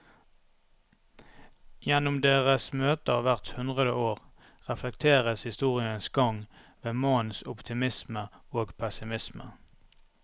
Gjennom deres møter hvert hundre år reflekteres historiens gang ved mannens optimisme og pessimisme.